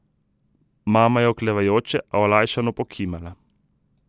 Mama je oklevajoče, a olajšano pokimala.